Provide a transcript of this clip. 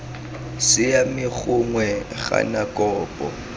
siame gongwe iii gana kopo